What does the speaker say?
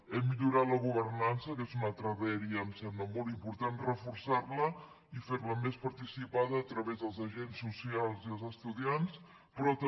hem millorat la governança que és una altra dèria em sembla molt important reforçarla i ferla més participada a través dels agents socials i els estudiants però també